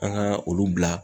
An ga olu bila